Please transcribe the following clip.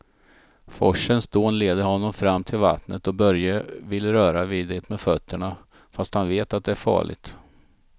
Forsens dån leder honom fram till vattnet och Börje vill röra vid det med fötterna, fast han vet att det är farligt.